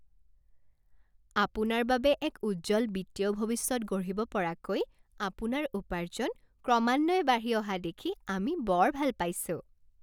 আপোনাৰ বাবে এক উজ্জ্বল বিত্তীয় ভৱিষ্যত গঢ়িব পৰাকৈ আপোনাৰ উপাৰ্জন ক্ৰমান্বয়ে বাঢ়ি অহা দেখি আমি বৰ ভাল পাইছোঁ!